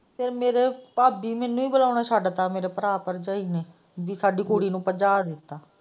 ਤੇ ਮੇਰੇ ਭਾਬੀ ਮੈਨੂੰ ਹੀ ਬੋਲਣਾ ਛੱਡਤਾ ਮੇਰੇ ਭਰਾ ਭਰਜਾਈ ਨੇ ਕਿ ਸਾਡੀ ਕੁੜੀ ਨੂੰ ਭੱਜਾ ਦਿਤਾ।